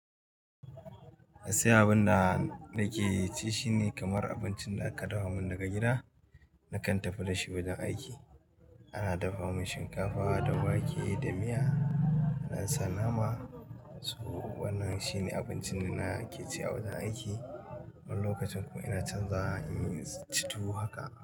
Gaskiya abun da nake ci shine kamar abincin da aka dafa min daga gida, nakan tafi da shi wajen aiki. Ana dafa min shinkafa da wake da miya, an sa nama. To wannan shine abincin da na ke ci a wajen aiki. Wani lokacin kuma ina canzawa, in ci tuwo haka.